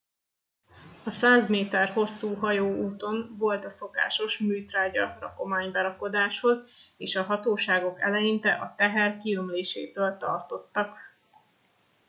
a 100 méter hosszú hajó úton volt a szokásos műtrágya rakomány berakodáshoz és a hatóságok eleinte a teher kiömlésétől tartottak